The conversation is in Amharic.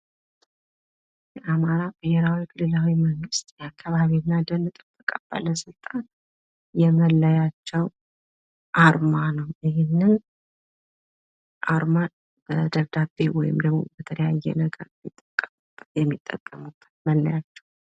የአማራ ብሔራዊ ክልላዊ መንግስት የአካባቢና ደን ጥበቃ ባለስልጣን የመለያቸው አርማ ነው። ይህን አርማ ደብዳቤ ወይም ደግሞ ለተለያየ ነገር የሚጠቀሙት መለያቸው ነው።